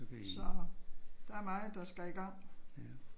Så der er meget der skal i gang